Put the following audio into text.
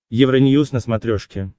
евроньюз на смотрешке